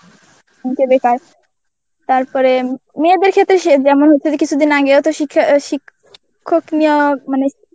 বেকার. তারপরে মেয়েদের ক্ষেত্রে সে যেমন হচ্ছে যে কিছুদিন আগেও তো শিখ্খ~ শিক্ষক নিয়োগ মানে